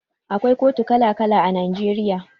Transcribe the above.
Akwai kotu kala kala a Najeriya.